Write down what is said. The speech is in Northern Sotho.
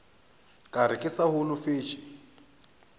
ka re ke sa holofetše